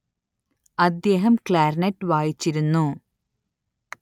അദ്ദേഹം ക്ലാര്‍നെറ്റ് വായിച്ചിരുന്നു